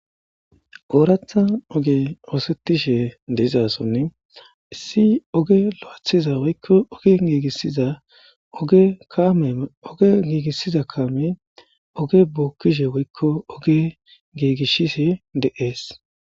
Ooratha oge oosettishe deizasonni issi oge low7athiza woykko oge giigissiza oge kaame oge giigissiza kaame oge bookkishe woykko oge giigishise de7ees.